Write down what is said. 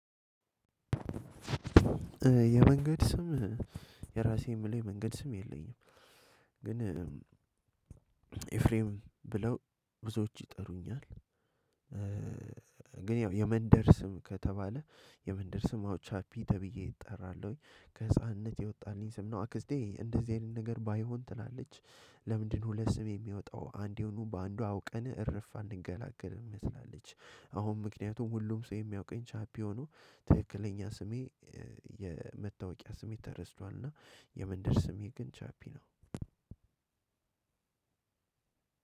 የመንገድ ስም የራሴን የምለው የመንገድ ስም የለኝም። ግን ኤፍሬም ብለው ብዙዎች ይጠሩኛል። ግን ያው የመንደር ስም ከተባለ የመንደር ስም አውቻፒ ተብዬ እጠራለሁኝ ከህፃንነት የወጣልኝ ስም ነው። አክስቴ እንደዚህ አይነት ነገር ባይሆን ትላለች። ለምንድነው ስም የሚወጣው አንዴውኑ በአንዱ አውቀንህን እርፍ አልንገላገልም ትላለች። አሁን ምክንያቱም ሁሉም ሰው የሚያውቀኝ ቻፒዮኑ ትክክለኛ ስሜ የመታወቂያ ስሜት ተረስቷል። እና የመንደር ስሜ ግን ቻፒ ነው።